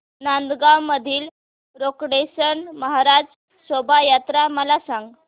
नांदगाव मधील रोकडेश्वर महाराज शोभा यात्रा मला सांग